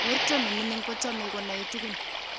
Werto nimining kuchomei kunoe tukun.